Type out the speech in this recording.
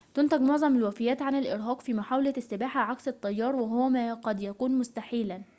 تنتجُ معظمُ الوفيّاتِ عن الإرهاقِ في محاولةِ السّباحة عكس التيّار وهو ما قد يكونُ مستحيلاً